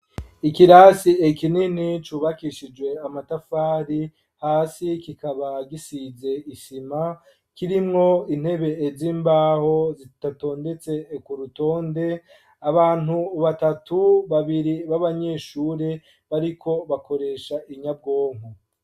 Ikirasi kinini cubakishijwe amatafari ,hasi kikaba gisize isima, kirimwo intebe z'imbaho ,zitatondetse k'urutonde ,abantu batatu, babiri b'abanyeshuri bariko bakoresha inyabwonko.